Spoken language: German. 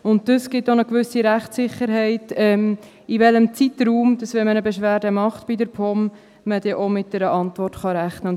Dies gibt eine gewisse Rechtssicherheit, in welchem Zeitraum man mit einer Antwort rechnen kann, wenn man bei der POM eine Beschwerde einreicht.